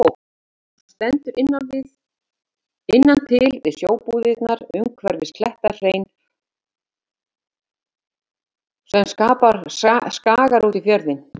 Hún stendur innan til við sjóbúðirnar umhverfis klettahlein sem skagar út í fjörðinn.